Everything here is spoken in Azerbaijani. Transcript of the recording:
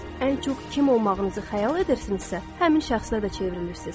Ən çox kim olmağınızı xəyal edirsinizsə, həmin şəxslə də çevrilirsiniz.